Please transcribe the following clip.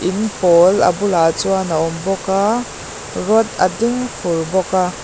in pawl a bulah chuan a awm bawk a rod a ding fur bawk a.